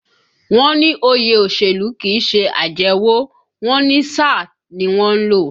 Wọ́n ní òye òṣèlú kìí ṣe àjẹwọ̀, wọ́n ní sáà ni wọ́n ń lò